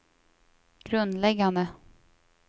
grundläggande